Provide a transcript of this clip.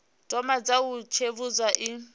thoma dza u tsivhudza i